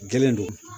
Jɛlen don